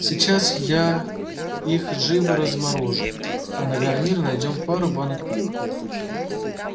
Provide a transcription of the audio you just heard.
сейчас я их живо разморожу а на гарнир найдём пару банок пива